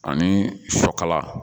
Ani sɔ kala